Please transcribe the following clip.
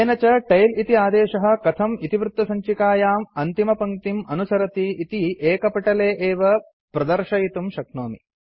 येन च टेल इति आदेशः कथम् इतिवृत्तसञ्चिकायाम् अन्तिमपङ्क्तिम् अनुसरति इति एकपटले एव प्रदर्शयितुं शक्नोमि